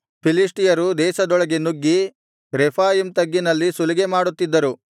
ಫಿಲಿಷ್ಟಿಯರು ದೇಶದೊಳಗೆ ನುಗ್ಗಿ ರೆಫಾಯೀಮ್ ತಗ್ಗಿನಲ್ಲಿ ಸುಲಿಗೆಮಾಡುತ್ತಿದ್ದರು